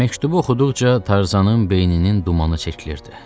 Məktubu oxuduqca Tarzanın beyninin dumanı çəkilirdi.